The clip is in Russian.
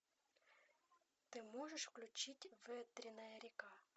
ты можешь включить ветренная река